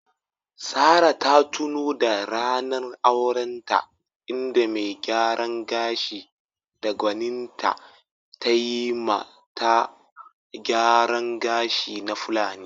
Sarah ta tuno da ranar aurenta, inda mai gyaran gashi da gwaninta tayi ma ta gyaran gashi na Fulani.